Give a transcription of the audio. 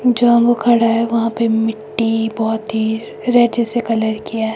जहां वो खड़ा है वहां पे मिट्टी बहोत ही रेड जैसे कलर की है।